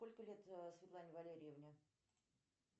сколько лет светлане валерьевне